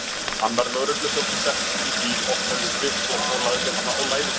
Annar lögregluþjónninn settist inn í bíl, opnaði skrifblokk og lagði hana á lær sér.